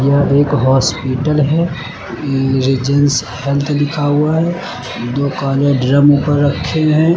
यह एक हॉस्पिटल है रीजेंस हेल्थ लिखा हुआ है दो काले ड्रम ऊपर रखे हुए हैं।